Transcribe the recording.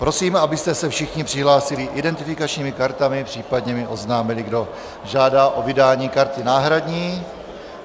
Prosím, abyste se všichni přihlásili identifikačními kartami, případně mi oznámili, kdo žádá o vydání karty náhradní.